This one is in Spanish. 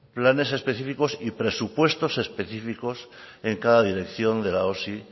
planes específicos y presupuestos específicos en cada dirección de la osi